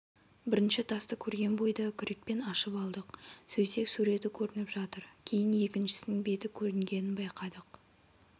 бірінші тасты көрген бойда күрекпен ашып алдық сөйтсек суреті көрініп жатыр кейін екіншісінің беті көрінгенін байқадық